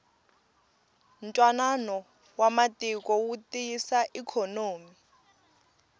ntwanano wa matiko wu tiyisa ikhonomi